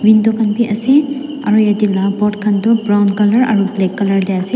Window khan beh ase aro yate la boat khan tu brown colour aro black colour tey ase.